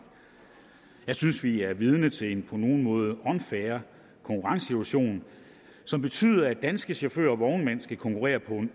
jeg synes at vi er vidne til en på nogle måder unfair konkurrencesituation som betyder at danske chauffører og vognmænd skal konkurrere på